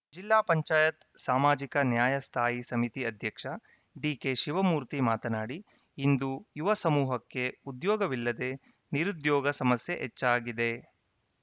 ಜಿಲ್ಲಾ ಪಂಚಾಯತ್ ಸಾಮಾಜಿಕ ನ್ಯಾಯ ಸ್ಥಾಯಿ ಸಮಿತಿ ಅಧ್ಯಕ್ಷ ಡಿಕೆಶಿವಮೂರ್ತಿ ಮಾತನಾಡಿ ಇಂದು ಯುವ ಸಮೂಹಕ್ಕೆ ಉದ್ಯೋಗವಿಲ್ಲದೇ ನಿರುದ್ಯೋಗ ಸಮಸ್ಯೆ ಹೆಚ್ಚಾಗಿದೆ